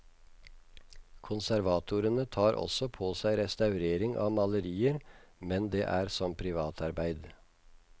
Konservatorene tar også på seg restaurering av malerier, men det er som privatarbeid.